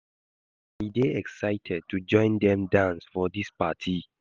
I dey excited to join dem dance for dis party